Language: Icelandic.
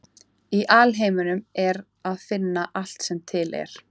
Í alheiminum er að finna allt sem er til.